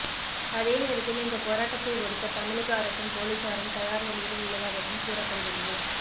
அதே நேரத்தில் இந்த போராட்டத்தை ஒடுக்க தமிழக அரசும் போலீசாரும் தயார் நிலையில் உள்ளதாகவும் கூறப்படுகிறது